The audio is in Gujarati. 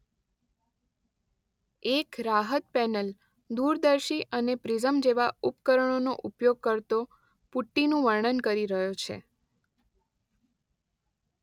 એક રાહત પેનલ દૂરદર્શી અને પ્રિઝમ જેવા ઉપકરણોનો ઉપયોગ કરતો પુટ્ટીનું વર્ણન કરી રહ્યો છે.